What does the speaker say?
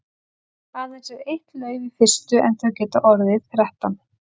Aðeins er eitt lauf í fyrstu en þau geta orðið þrettán.